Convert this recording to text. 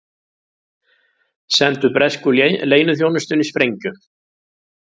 Sendu bresku leyniþjónustunni sprengju